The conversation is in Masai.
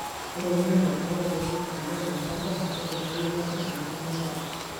Ore eunoto oo kiek oleng tolchamba keitadoyio batisho enkima sapuk.